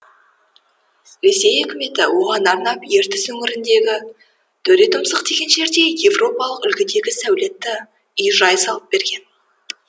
ресей үкіметі оған арнап ертіс өңіріндегі төретұмсық деген жерде еуропалық үлгідегі сәулетті үй жай салып берген